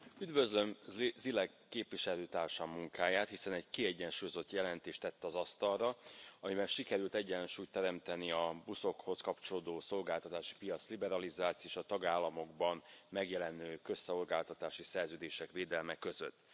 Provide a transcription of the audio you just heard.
Üdvözlöm Zīle képviselőtársam munkáját, hiszen egy kiegyensúlyozott jelentést tett az asztalra, amivel sikerült egyensúlyt teremteni a buszokhoz kapcsolódó szolgáltatásipiac liberalizáció és a tagállamokban megjelenő közszolgáltatási szerződések védelme között.